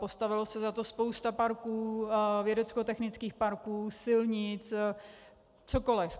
Postavilo se za to spousta parků, vědeckotechnických parků, silnic, cokoliv.